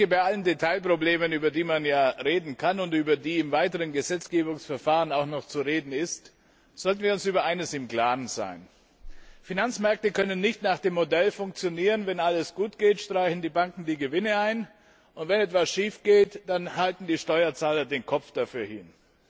Bei allen Detailproblemen, über die man reden kann und über die im weiteren Gesetzgebungsverfahren auch noch zu reden ist, sollten wir uns über eines im Klaren sein Finanzmärkte können nicht nach dem Modell funktionieren Wenn alles gut geht, streichen die Banken die Gewinne ein, und wenn etwas schief geht, dann halten die Steuerzahler den Kopf dafür hin.